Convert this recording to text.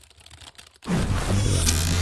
Nyithindo ahinya to mag jomwandu yudo mich ahinya.